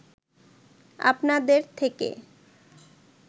আপনাদের থেকে